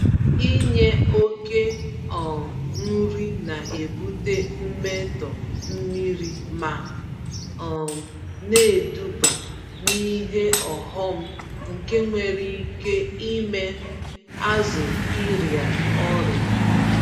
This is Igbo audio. Inye oke um nri na-ebute mmetọ mmiri ma um neduba n'ihe ọghọm nke nwere ike ime azụ ịrịa ọrịa.